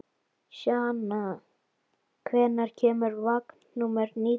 Sjana, hvenær kemur vagn númer nítján?